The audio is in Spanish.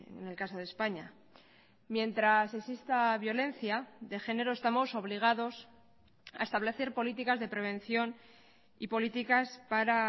en el caso de españa mientras exista violencia de género estamos obligados a establecer políticas de prevención y políticas para